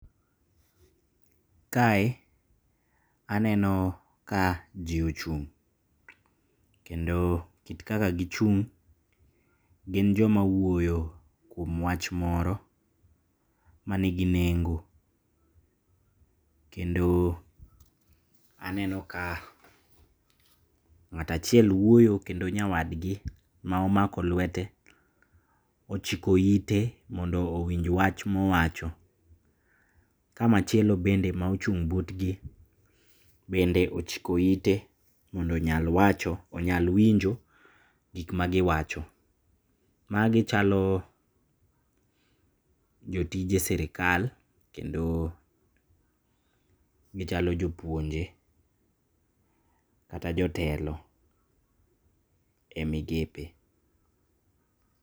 Kae aneno ka jii ochung', kendo kit kaka gichung' gin joma wuoyo kuom wach moro manigi nengo, kendo aneno ka ng'ato achiel wuoyo kendo nyawadgi maomako lwete ochiko ite mondo owinj wach maowacho. Ka machielo bende maochung' butgi bende ochiko ite mondo onyal wacho onyal winjo gikma giwacho. Magi chalo jotije sirikal kendo gichalo jopuonje kata jotelo e migepe.